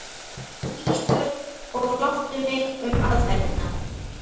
Ísbjörg og láttu mig um aðferðirnar.